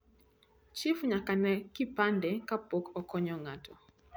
chif nyaka ne kipande kapok okonyo ngato